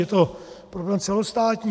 Je to problém celostátní.